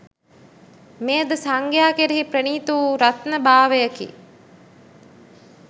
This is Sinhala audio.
මෙය ද සංඝයා කෙරෙහි ප්‍රණීත වූ රත්න භාවයෙකි.